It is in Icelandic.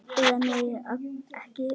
Eða nei, ekki allir!